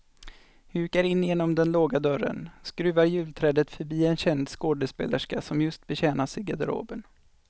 Hukar in genom den låga dörren, skruvar julträdet förbi en känd skådespelerska som just betjänas i garderoben.